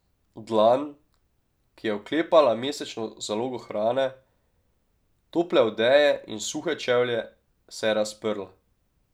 Dlan, ki je oklepala mesečno zalogo hrane, tople odeje in suhe čevlje, se je razprla.